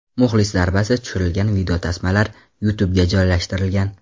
Muxlis zarbasi tushirilgan videotasmalar YouTubega joylashtirilgan.